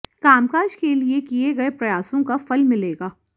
कामकाज के लिए किए गए प्रयासों का फल मिलेगा